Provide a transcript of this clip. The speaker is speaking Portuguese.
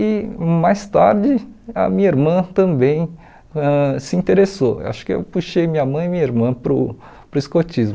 E mais tarde, a minha irmã também ãh se interessou, acho que eu puxei minha mãe e minha irmã para o para o escotismo.